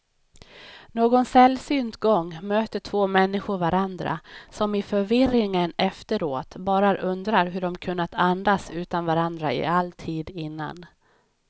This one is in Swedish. Någon sällsynt gång möter två människor varandra, som i förvirringen efteråt bara undrar hur de kunnat andas utan varandra i all tid innan.